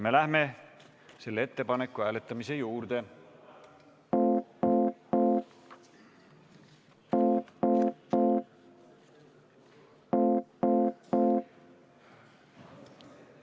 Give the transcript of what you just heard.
Me läheme selle ettepaneku hääletamise juurde.